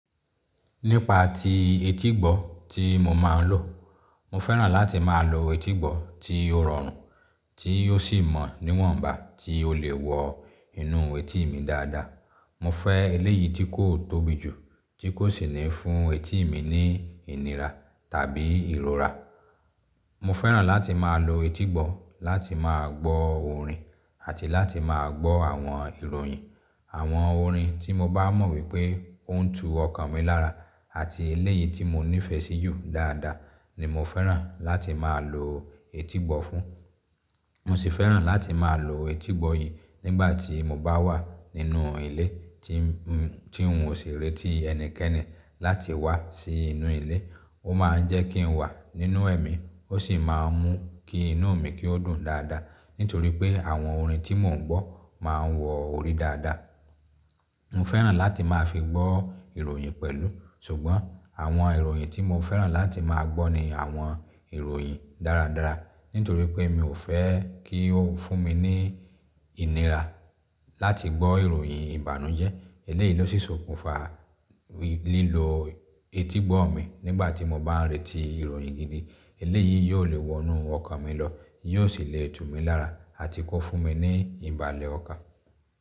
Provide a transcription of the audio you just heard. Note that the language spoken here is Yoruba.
Nípa ti etígbọ̀ tí mo máa ń lò. Mo fẹ́ràn láti máa lo etígbọ̀ tí ó rọrùn, tí ó sì mọ níwọ̀nba, tí ó lè wọ inú etí mi dáadáa. Mo fẹ́ eléyìí tí kò tóbi jù, tí kò sì ní fún etí mi ní ìnira tàbí ìrora. Mo fẹ́ràn láti máa lo etígbọ̀ láti máa gbọ́ orin àti láti máa gbọ́ àwọn ìròyìn. Àwọn orin tí mo bá mọ̀ wípé ó ń tu ọkàn mi lára àti eléyìí tí mo nífẹ̀ẹ́ síjú dáadáa ni mo fẹ́ràn láti máa lo etígbọ̀ fún. Mo sì fẹ́ràn láti máa lo etígbọ̀ yìí nígbà tí mo bá wà nínú ilé tí oun ò sì rí tí ẹnikẹ́ni láti wá sí inú ilé. Ó máa ń jẹ́ kí n wà nínú ẹ̀mí, ó sì máa ń mú kí inú mi kí ó dùn dáadáa nítorí pé àwọn orin tí mò ń gbọ́ máa wọ orí dáadáa. Mo fẹ́ràn láti máa fi gbọ́ ìròyìn pẹ̀lú. Ṣùgbọ́n àwọn ìròyìn tí mo fẹ́ràn láti máa gbọ́ ni àwọn ìròyìn dáradára nítorí pé mi ò fẹ́ kí ó fún mi ní ìnira láti gbọ́ ìròyìn ìbànújẹ́. Eléyìí ló sì sokùnfa lílo etígbọ̀ mi nígbà tí mo bá ń retí ìròyìn gidi. Eléyìí yóò lè wonú ọkàn mi lọ, yóò sì le tú mi lára àti kó fún mi ní ìbàlẹ̀ ọkàn.